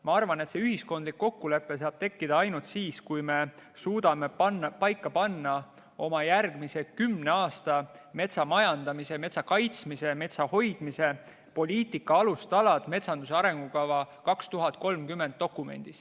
Ma arvan, et see ühiskondlik kokkulepe saab tekkida ainult siis, kui me suudame metsanduse arengukavas panna paika oma järgmise kümne aasta metsamajandamise, metsa kaitsmise ja metsa hoidmise poliitika alustalad.